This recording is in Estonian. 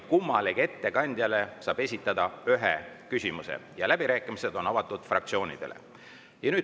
Kummalegi ettekandjale saab esitada ühe küsimuse ja läbirääkimised on avatud fraktsioonidele.